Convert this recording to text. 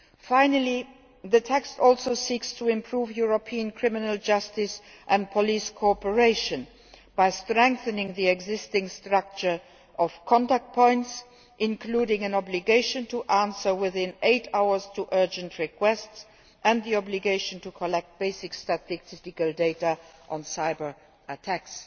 Finally, the text also seeks to improve European criminal justice and police cooperation by strengthening the existing structure of contact points, including an obligation to answer urgent requests within eight hours, and the obligation to collect basic statistical data on cyber attacks.